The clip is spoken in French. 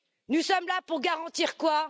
Nous sommes là pour garantir quoi?